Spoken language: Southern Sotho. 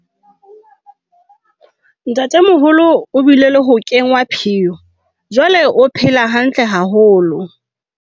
ntatemoholo o bile le ho kenngwa phiyo jwale o phela hantle haholo